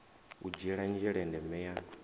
u dzhiela nzhele ndeme ya